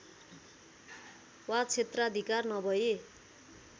वा क्षेत्राधिकार नभर्इ